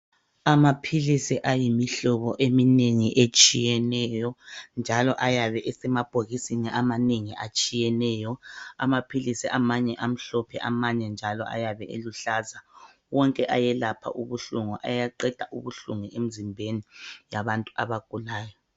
amaphilisi ayimihlobo eminengi etshiyeneyo njalo ayabe esemabhokisini amanengi atshiyeneyo amaphilisi amanye amhlophe njalo amanye njalo ayabe eluhlaza wonke ayelapha ubuhlungu ayaqeda ubuhlungu emzimbeni yabantu abagulayo